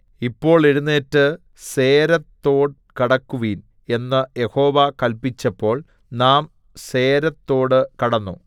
ഇപ്പോൾ എഴുന്നേറ്റ് സേരേദ് തോട് കടക്കുവിൻ എന്ന് യഹോവ കല്പിച്ചപ്പോൾ നാം സേരെദ് തോട് കടന്നു